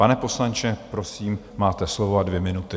Pane poslanče, prosím, máte slovo a dvě minuty.